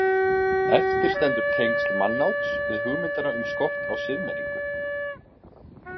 Eftir stendur tengsl mannáts við hugmyndina um skort á siðmenningu.